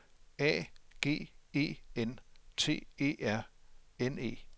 A G E N T E R N E